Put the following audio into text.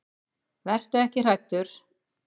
Vertu ekki hræddur.